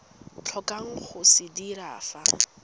tlhokang go se dira fa